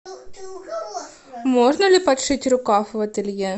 можно ли подшить рукав в ателье